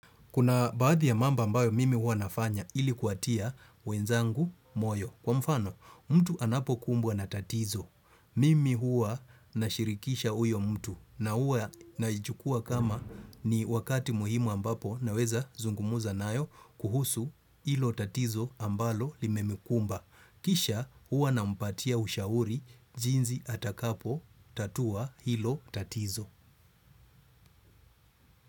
Kuna baadhi ya mambo ambayo mimi hua nafanya ili kuwatia wenzangu moyo. Kwa mfano, mtu anapo kumbwa na tatizo. Mimi hua nashirikisha huyo mtu na hua naichukua kama ni wakati muhimu ambapo naweza zungumuza nayo kuhusu ilo tatizo ambalo limemkumba. Kisha hua nampatia ushauri jinsi atakapo tatua hilo tatizo.